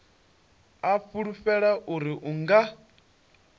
a fulufhela uri u nga